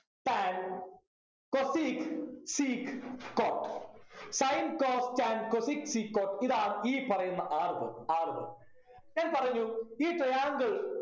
tan cosec sec cotsin cos tan cosec sec cot ഇതാണ് ഈ പറയുന്ന ആറു പേർ ആറു പേർ ഞാൻ പറഞ്ഞു ഈ triangle